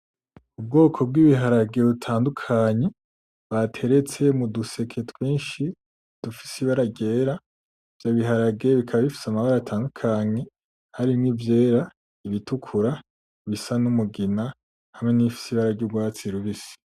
Ubwoko bw'ibiharage butandukanye bateretse muduseke twinshi dufise ibara ryera, ivyo biharage bikaba bifise amabara atandukanye harimwo ivyera, ibitukura, ibisa n'umugina hamwe n'ibifise ibara ry'ugwatsi rubisi.